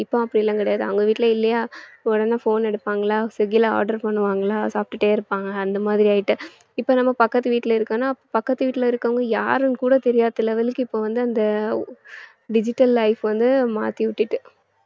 இப்போ அப்படி எல்லாம் கிடையாது அவங்க வீட்டுல இல்லையா உடனே phone எடுப்பாங்களா swiggy ல order பண்ணுவாங்களா சாப்பிட்டுட்டே இருப்பாங்க அந்த மாதிரி ஆயிட்டு இப்ப நம்ம பக்கத்து வீட்டுல இருக்கோம்ன்னா பக்கத்து வீட்டுல இருக்குறவங்க யாருன்னு கூட தெரியாத level க்கு இப்ப வந்து அந்த digital life வந்து மாத்தி விட்டுட்டு